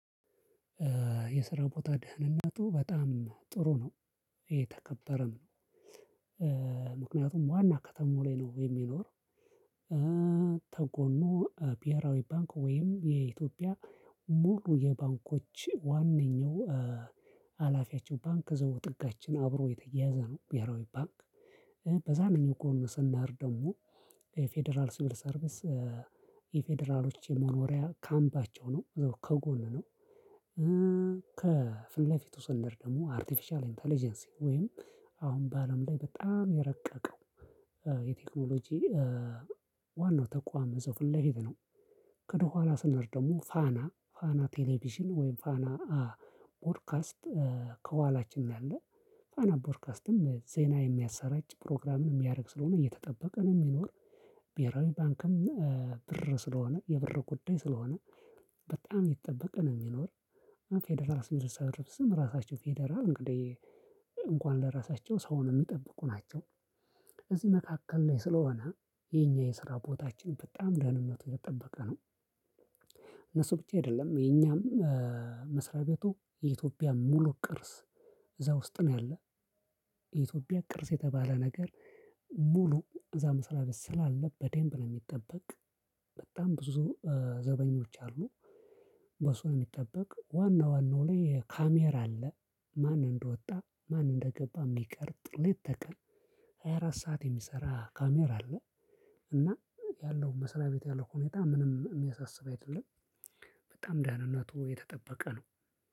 የስራ ቦታ ደህንነቱ በጣም ጥሩ ነው። የተከበረም ምክንያቱም ዋና ከተማው ላይ ነው የሚኖር። ተጎኑ ብሔራዊ ባንክ ወይም የኢትዮጵያ ሙሉ የባንኮች ዋነኛው ሀላፊያቸው ባንክ እዘው ጥጋችን አብሮ የተያያዘ ነው። ብሔራዊ ባንክ። በዛንኘው ጎን ስንሄድ ደግሞ ፌደራል ስቢል ሰርቪስ የፌደራሎች የመኖሪያ ካምፓቸው ነው። ከጎን ነው። ከፊት ለፊቱ ስንሄድ ደግሞ አርቲፊሻል ኢንተለጀንሲ ወይም አሁን በአለም ላይ በጣም የረቀቀው የቴክኖሎጂ ዋናው ተቋም እዛው ፊት ለፊት ነው። ከደኋላ ስንሄድ ደግሞ ፋና ፋና ቴሌቪዥን ወይም ፋና ቦርካስት። ከኋላችን ነው ያለ። ፋና ቦርካስትም ዜና የሚያሰራጭ ፕሮግራምን የሚያደርግ ስለሆነ እየተጠበቀ ነው የሚኖር። ብሔራዊ ባንክም ብር ስለሆነ የብር ጉዳይ ስለሆነ በጣም እየተጠበቀ ነው የሚኖር። ፌደራል ሲቪል ሰርቪስ ራሳቸው ፌደራል እንግዲህ እንኳን ለራሳቸው ሰው ነው የሚጠብቁ ናቸው። እዚህ መካከል ላይ ስለሆነ የኛ የስራ ቦታችንን በጣም ደህንነት እየተጠበቀ ነው። እነሱ ብቻ አይደለም የኛም። መስሪያ ቤቱ የኢትዮጵያ ሙሉ ቅርስ እዛ ውስጥ ነው ያለው። የኢትዮጵያ ቅርጽ የተባለ ነገር ሙሉ እዛ መስሪያ ቤት ስላለ በደምብ ነው የሚጠበቅ። በጣም ብዙ ዘበኞች አሉ። በሱ ነው የሚጠበቅ ዋና ዋናው ላይ ካሜራ አለ። ማን እንደወጣ ማን እንደገባ የሚቀርጥ ልት ተቀን። ሃያ አራት ሰዓት የሚሰራ ካሜራ አለ። እና ያለው መስሪያ ቤት ቤት ያለው ሁኔታ ምንም እሚያሳስብ አይደለም። በጣም ደህንነቱ የተጠበቀ ነው።